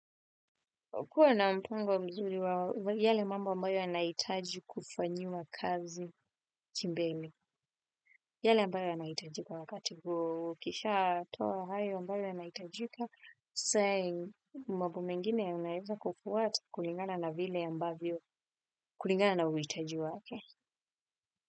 Kuwa na mpango mzuri wa yale mambo ambayo yanahitaji kufanyiwa kazi kimbele, yale ambayo yanahitajika kwa wakati ukishatoa hayo ambayo yanaitajika sasa mambo mengine yanaweza kufuata kulingana na vile ambayo kulingana na uhitaji wake.